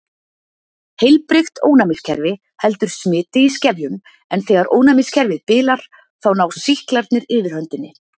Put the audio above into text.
Heilbrigt ónæmiskerfi heldur smiti í skefjum en þegar ónæmiskerfið bilar þá ná sýklarnir yfirhöndinni.